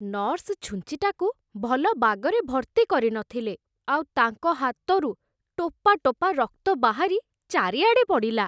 Nurse ଛୁଞ୍ଚିଟାକୁ ଭଲ ବାଗରେ ଭର୍ତ୍ତି କରିନଥିଲେ ଆଉ ତାଙ୍କ ହାତରୁ ଟୋପାଟୋପା ରକ୍ତ ବାହାରି ଚାରିଆଡ଼େ ପଡ଼ିଲା ।